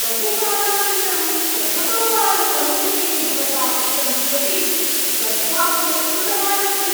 बहुकालानन्तरं प्रथमवारं मम विषये भवता उक्तं किमपि सद्वाक्यं श्रुतवान् अस्मि।